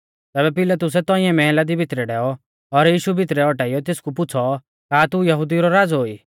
तैबै पिलातुस तौंइऐ मैहला दी भितरै डैऔ और यीशु भितरै औटाइयौ तेसकु पुछ़ौ का तू यहुदिऊ रौ राज़ौ ई